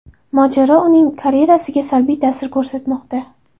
Mojaro uning karyerasiga salbiy ta’sir ko‘rsatmoqda.